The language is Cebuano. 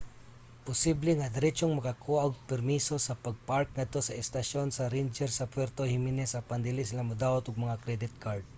posible nga diretsong makakuha og permiso sa pag-park ngadto sa estasyon sa ranger sa puerto jimenez apan dili sila modawat og mga credit card